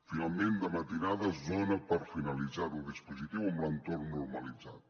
finalment de matinada es dona per finalitzat el dispositiu amb l’entorn normalitzat